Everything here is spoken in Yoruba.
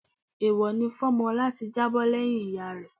Èèwọ̀ ni fún ọmọ láti jábọ́ lẹ́yìn ìyá rẹ